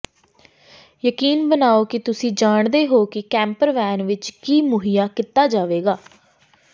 ਯਕੀਨੀ ਬਣਾਓ ਕਿ ਤੁਸੀਂ ਜਾਣਦੇ ਹੋ ਕਿ ਕੈਂਪਰ ਵੈਨ ਵਿੱਚ ਕੀ ਮੁਹੱਈਆ ਕੀਤਾ ਜਾਵੇਗਾ